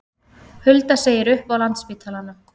Hulda segir upp á Landspítalanum